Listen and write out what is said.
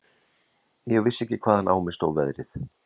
Ég vissi ekki hvaðan á mig stóð veðrið.